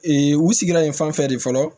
Ee u sigira yen fan fɛ de fɔlɔ